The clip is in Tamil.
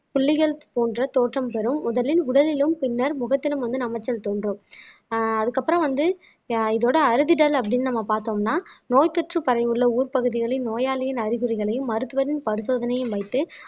புள்ளிகள் போன்ற தோற்றம் தரும் முதலில் உடலிலும் பின்னர் முகத்திலும் வந்து நமைச்சல் தோன்றும் அஹ் அதுக்கப்புறம் வந்து இதோட அறிதிடல் அப்படின்னு நம்ம பார்த்தோம்னா நோய்த்தொற்று பரவியுள்ள ஊர் பகுதிகளில் நோயாளியின் அறிகுறிகளையும் மருத்துவரின் பரிசோதனையும் வைத்து